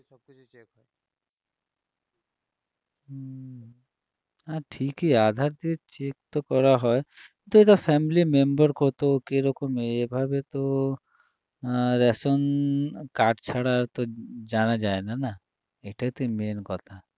না ঠিকই আধার দিয়ে check তো করা হয় কিন্তু এটা family member কত কীরকম এভাবে তো আহ রেশন card ছাড়া তো জানা যায় না এটাই তো main কথা